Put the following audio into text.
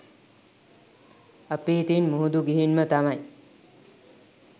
අපි ඉතින් මුහුදු ගිහින්ම තමයි